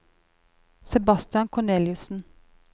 Sebastian Korneliussen